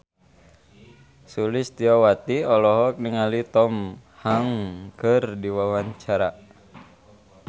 Sulistyowati olohok ningali Tom Hanks keur diwawancara